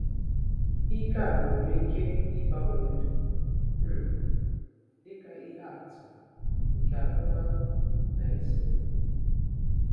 Ike a nwere ike ịgbanwe ndụ um, dị ka ihe atụ nke ahụmahụ na-esonụ.